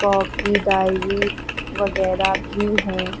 Copy diary वगैरा भी है।